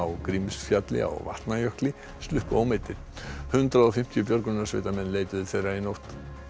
Grímsfjalli á Vatnajökli sluppu ómeiddir hundrað og fimmtíu björgunarsveitarmenn leituðu þeirra í nótt